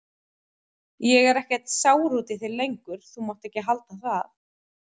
Ég er ekkert sár út í þig lengur, þú mátt ekki halda það.